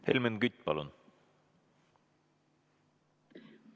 Helmen Kütt, palun!